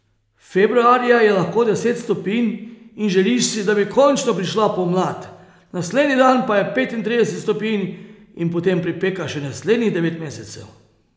Februarja je lahko deset stopinj in želiš si, da bi končno prišla pomlad, naslednji dan pa je petintrideset stopinj in potem pripeka še naslednjih devet mesecev.